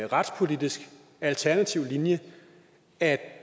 retspolitisk alternativ linje at